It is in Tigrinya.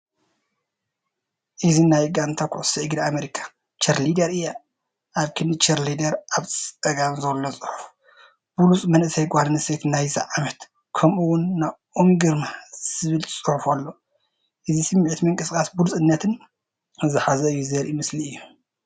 እዚ ናይ ጋንታ ኩዕሶ እግሪ ኣሜሪካ ቺርሊደር እያ፡ ኣብ ክንዲ ቺርሊደር። ኣብ ጸጋም ዘሎ ጽሑፍ "ብሉጽ መንእሰይ ጓል ኣንስተይቲ ናይዚ ዓመት" ከምኡ'ውን "ናኦሚ ግርማ" ዝብል ጽሑፍ ኣሎ። እዚ ስምዒት ምንቅስቓስን ብሉጽነትን ዝሓዘ እዩ ዘርኢ ምስሊ እዩ።